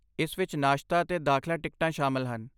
ਇਸ ਵਿੱਚ ਨਾਸ਼ਤਾ ਅਤੇ ਦਾਖਲਾ ਟਿਕਟਾਂ ਸ਼ਾਮਲ ਹਨ।